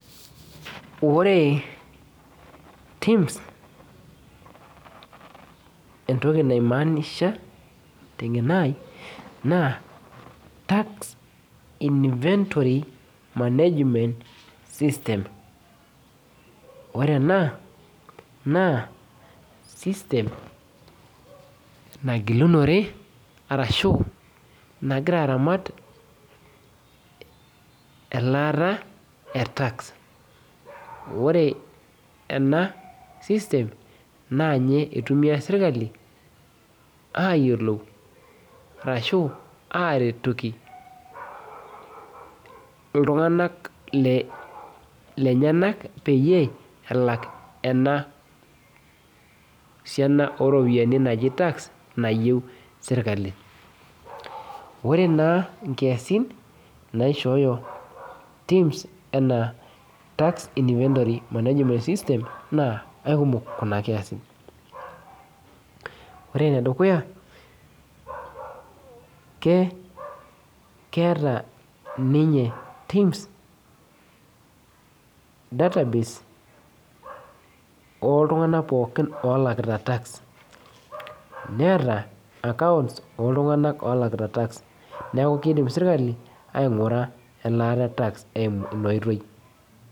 Ote entoki naimanisha teng'eno ai naa tax inventory management system ore ena naasystem nagilunore arashu nagira aramat elaata e tax ore ena system naa niye eitumia sirkali ayiolou arashu aretoki iltung'anak le lenyenak peyie elak ena siana oropiyiani naji tax nayieu sirkali ore naa inkiasin naishooyo TIMS enaa tax inventory management system naa akumok kuna kiasin ore enedukuya ke keeta ninye TIMS database oltung'anak pookin olakita tax neeta accounts olakita tax neku keidim sirkali aing'ura elaata e tax eimu ina oitoi.